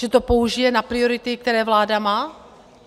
Že to použije na priority, které vláda má?